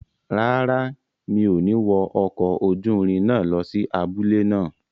Rárá, mi ò ní wọ ọkọ̀ ojúrin náà lọ sí abúlé náà